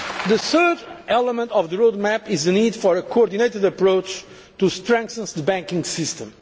The third element of the road map is the need for a coordinated approach to strengthen the banking system.